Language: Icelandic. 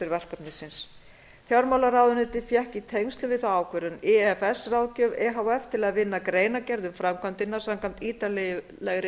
verkefnisins fjármálaráðuneytið fékk í tengslum við þá ákvörðun ifs ráðgjöf e h f til að vinna greinargerð um framkvæmdina samkvæmt ítarlegri